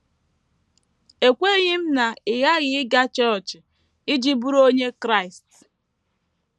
“ Ekweghị m na ị ghaghị ịga chọọchị iji bụrụ onye Kraịst. ”